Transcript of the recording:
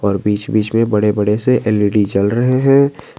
और बीच बीच में बड़े बड़े से एल_ई_डी जल रहे हैं।